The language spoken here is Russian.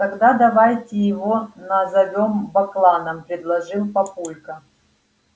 тогда давайте его назовём бакланов предложил папулька